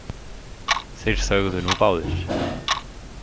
Þeir þögðu nú báðir.